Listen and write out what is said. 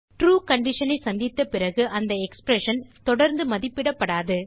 true condition ஐ சந்தித்த பிறகு அந்த எக்ஸ்பிரஷன் தொடர்ந்து மதிப்பிடப்படாது